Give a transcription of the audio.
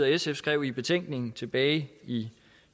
sf skrev i betænkningen tilbage i